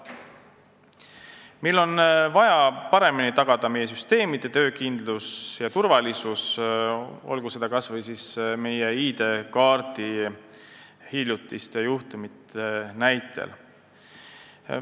Meil on vaja paremini tagada süsteemide töökindlus ja turvalisus, kas või ID-kaardi hiljutiste juhtumite näitel.